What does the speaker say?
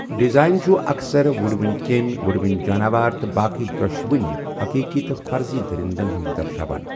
Design چُھ اکثر وُڑوٕنۍ کیمۍ، وُڑوٕنۍ جاناوار تہٕ باقی دۄشونۍ حقیٖقی تہٕ فرضی درندَن ہِنٛز درشاوان۔